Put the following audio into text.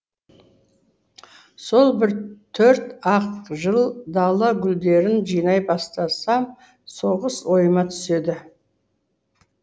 сол бір төрт ақ жыл дала гүлдерін жинай бастасам соғыс ойыма түседі